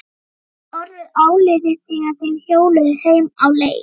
Það var orðið áliðið þegar þeir hjóluðu heim á leið.